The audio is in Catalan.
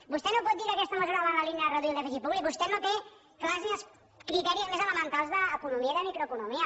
vostè no pot dir que aquesta mesura va en la línia de reduir el dèficit públic vostè no té clars ni els criteris més elementals d’economia i de microeconomia